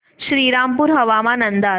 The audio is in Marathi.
श्रीरामपूर हवामान अंदाज